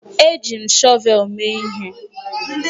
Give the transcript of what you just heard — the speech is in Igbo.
Eji m shọvel mee ihe